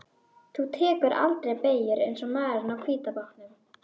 Þú tekur aldrei beygjur eins og maðurinn á hvíta bátnum.